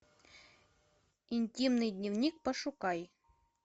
интимный дневник пошукай